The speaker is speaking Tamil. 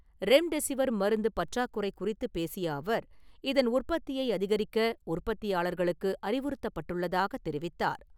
ரெம்டெஸிவர் மருந்து பற்றாக்குறையை குறித்து பேசிய அவர், இதன் உற்பத்தியை அதிகரிக்க உற்பத்தியாளர்களுக்கு அறிவுறுத்தப்பட்டுள்ளதாக தெரிவித்தார்.